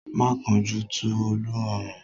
Má kánjú tú Olú ọrán!